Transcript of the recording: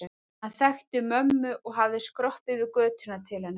Hann þekkti mömmu og hafði skroppið yfir götuna til hennar í